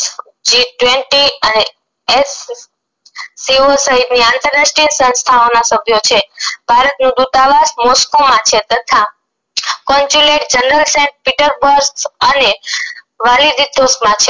G twenty અને SCO સહીત ની અંતરાષ્ટ્રીય સંસ્થાઓ ના સભ્ય છે ભારત નુ દુતાવાસ moscow માં છે તથા છે